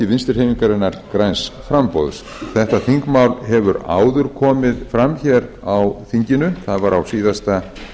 vinstri hreyfingarinnar græns framboðs þetta þingmál hefur áður komið fram hér á þinginu það var á síðasta